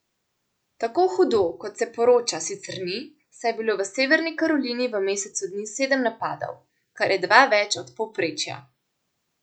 Tako hudo, kot se poroča, sicer ni, saj je bilo v Severni Karolini v mesecu dni sedem napadov, kar je dva več od povprečja.